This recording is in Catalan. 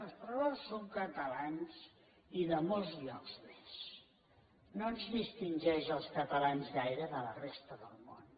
no els correbous són catalans i de molts llocs més no ens distingeix als catalans gaire de la resta del món